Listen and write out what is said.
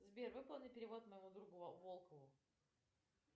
сбер выполни перевод моему другу волкову